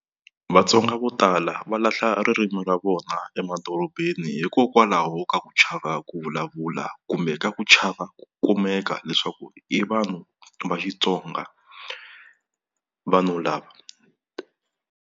Vatsonga vo tala va lahla ririmi ra vona emadorobeni hikokwalaho ka ku chava ku vulavula kumbe ka ku chava ku kumeka leswaku i vanhu va Xitsonga vanhu lava.